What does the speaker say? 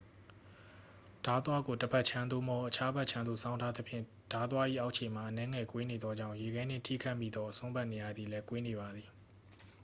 ဓားသွားကို တစ်ဖက်ခြမ်း သို့မဟုတ် အခြားဖက်ခြမ်းသို့ စောင်းထားသဖြင့် ဓားသွား၏အောက်ခြေမှာ အနည်းငယ်ကွေးနေသောကြောင့် ရေခဲနှင့်ထိခတ်မိသောအစွန်းဘက်နေရာသည်လည်း ကွေးနေပါသည်